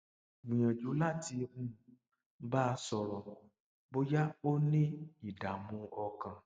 gbìyànjú láti um bá a sọrọ bóyá ó ní ìdààmú ọkàn